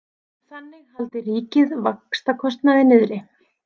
Þannig haldi ríkið vaxtakostnaði niðri